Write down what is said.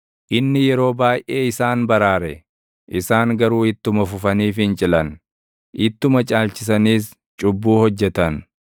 Inni yeroo baayʼee isaan baraare; isaan garuu ittuma fufanii fincilan; ittuma caalchisaniis cubbuu hojjetan.